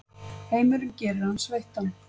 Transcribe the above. Heimurinn gerir hann sveittan.